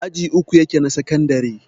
aji uku yake na sakandare